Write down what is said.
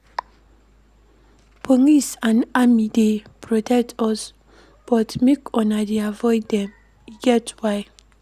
Police and army dey protect us but make una dey avoid dem, e get why.